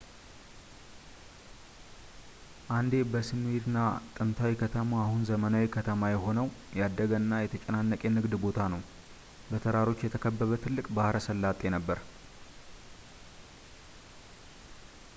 አንዴ በስምይርና ጥንታዊ ከተማ አሁን ዘመናዊ ከተማ የሆነው ያደገ እና የተጨናነቀ የንግድ ቦታ ነው በተራሮች የተከበበ ትልቅ ባሕረ ሰላጤ ነበረ